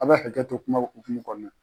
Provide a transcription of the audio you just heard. A bɛ hakɛto kuma hokumu kɔnɔna